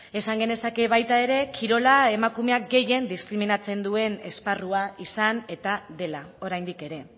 esan genezake baita ere kirola emakumeak gehien diskriminatzen duen esparrua izan eta dela oraindik ere